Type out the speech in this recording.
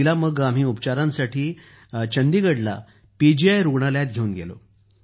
तिला आम्ही उपचारांसाठी चंडीगढला पीजीआय रूग्णालयात घेऊन गेलो